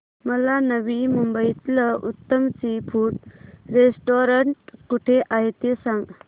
मला नवी मुंबईतलं उत्तम सी फूड रेस्टोरंट कुठे आहे ते सांग